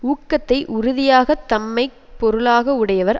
ஊக்கத்தை உறுதியாக தம்மை பொருளாக உடையவர்